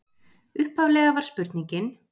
Upphaflega var spurningin: